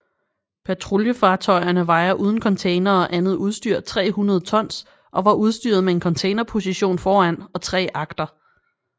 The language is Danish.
Patruljefartøjerne vejer uden containere og andet udstyr 300 tons og var udstyret med en containerposition foran og tre agter